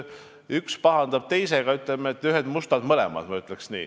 Üks pahandab teisega, aga ühed mustad mõlemad, ma ütleks nii.